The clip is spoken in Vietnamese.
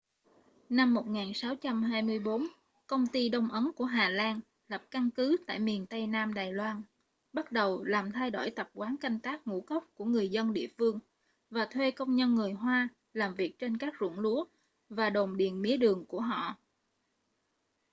năm 1624 công ty đông ấn của hà lan lập căn cứ tại miền tây nam đài loan bắt đầu làm thay đổi tập quán canh tác ngũ cốc của người dân địa phương và thuê công nhân người hoa làm việc trên các ruộng lúa và đồn điền mía đường của họ